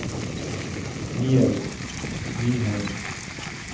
Niels Nyheim